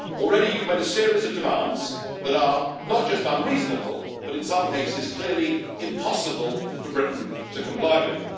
Already you have made a series of demands that are not just unreasonable, but, in some cases, clearly impossible for Britain to comply with.